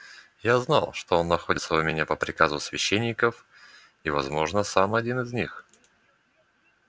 я знал что он находится у меня по приказу священников и возможно сам один из них